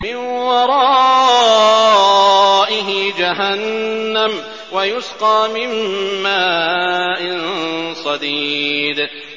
مِّن وَرَائِهِ جَهَنَّمُ وَيُسْقَىٰ مِن مَّاءٍ صَدِيدٍ